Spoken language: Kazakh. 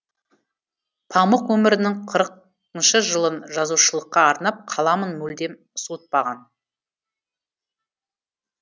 памұқ өмірінің қырық ыншы жылын жазушылыққа арнап қаламын мүлдем суытпаған